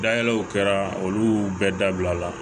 Dayɛlɛw kɛra olu bɛɛ dabila la